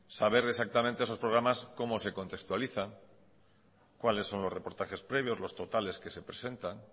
saber exactamente esos programas cómo se contextualizan cuáles son los reportajes previos los totales que se presentan